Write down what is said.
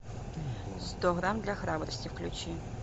сто грамм для храбрости включи